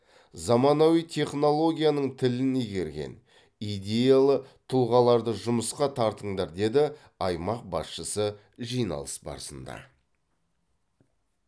заманауи технологияның тілін игерген идеялы тұлғаларды жұмысқа тартыңдар деді аймақ басшысы жиналыс барысында